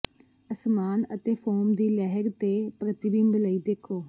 ਅਸਮਾਨ ਅਤੇ ਫੋਮ ਦੀ ਲਹਿਰ ਤੇ ਪ੍ਰਤੀਬਿੰਬ ਲਈ ਦੇਖੋ